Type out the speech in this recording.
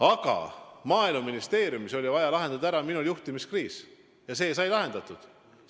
Aga Maaeluministeeriumis oli vaja minul lahendada ära juhtimiskriis ja see sai lahendatud.